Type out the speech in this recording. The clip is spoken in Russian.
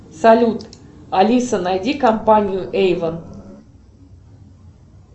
салют алиса найди компанию эйвон